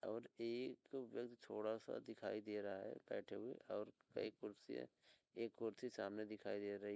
और एक व्यक्ति थोड़ा सा दिखाई दे रहा है बैठे हुए और कई कुर्सी हैं। एक कुर्सी सामने दिखाई दे रही --